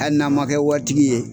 Hali n'an man kɛ wari tigi ye